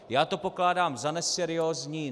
Já to pokládám za neseriózní.